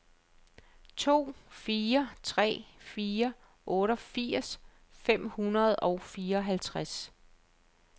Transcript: to fire tre fire otteogfirs fem hundrede og fireoghalvtreds